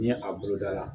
Ni a bolo da la